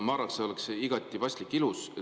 Ma arvan, et see oleks igati paslik ja ilus.